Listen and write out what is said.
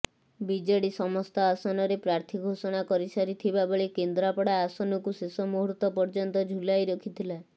BJD ସମସ୍ତ ଆସନରେ ପ୍ରାର୍ଥୀ ଘୋଷଣା କରିସାରିଥିବାବେଳେ କେନ୍ଦ୍ରାପଡ଼ା ଆସନକୁ ଶେଷ ମୁହୂର୍ତ୍ତ ପର୍ଯ୍ୟନ୍ତ ଝୁଲାଇ ରଖିଥିଲା